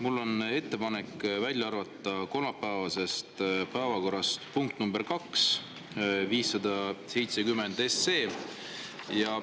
Mul on ettepanek välja arvata kolmapäevasest päevakorrast punkt nr 2 ehk 570 SE.